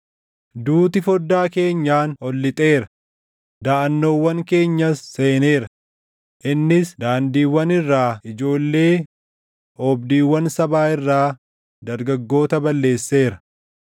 Duuti foddaa keenyaan ol lixeera; daʼannoowwan keenyas seeneera; innis daandiiwwan irraa ijoollee oobdiiwwan sabaa irraa dargaggoota balleesseera.